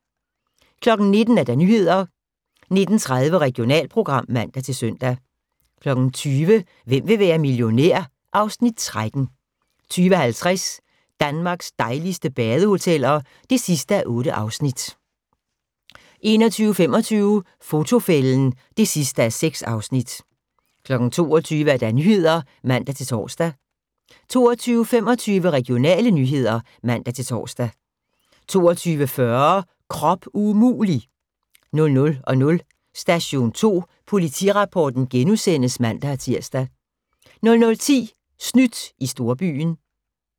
19:00: Nyheder 19:30: Regionalprogram (man-søn) 20:00: Hvem vil være millionær? (Afs. 13) 20:50: Danmarks dejligste badehoteller (8:8) 21:25: Fotofælden (6:6) 22:00: Nyhederne (man-tor) 22:25: Regionale nyheder (man-tor) 22:40: Krop umulig! 00:00: Station 2 Politirapporten *(man-tir) 00:10: Snydt i storbyen